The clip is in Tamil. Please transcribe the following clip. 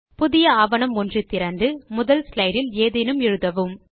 புதிய ஆவணம் ஒன்று திறந்து முதல் ஸ்லைடு இல் ஏதேனும் எழுதவும்